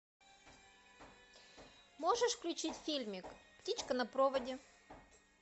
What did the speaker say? можешь включить фильмик птичка на проводе